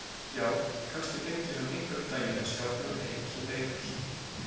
Já, kannski fengi hann einhvern daginn að sjá þennan heim sem beið hans.